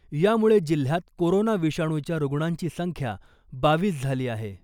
यामुळे जिल्ह्यात कोरोना विषाणूच्या रुग्णांची संख्या बावीस झाली आहे .